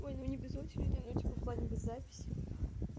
ой ну не без очереди ну типа в плане без записи